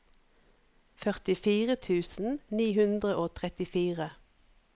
førtifire tusen ni hundre og trettifire